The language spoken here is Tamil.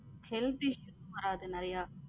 Health issues வரத்து நறிய